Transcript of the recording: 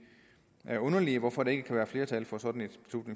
er underligt hvorfor der ikke kan være flertal for sådan